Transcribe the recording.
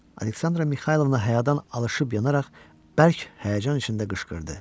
Aleksandra Mixaylovna həyadan alışıb yanaraq bərk həyəcan içində qışqırdı.